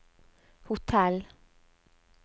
hotell